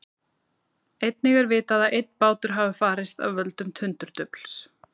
Einnig er vitað að einn bátur hafi farist af völdum tundurdufls.